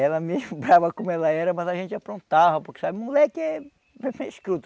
Ela mesmo brava como ela era, mas a gente aprontava, porque sabe, moleque é moleque é escroto.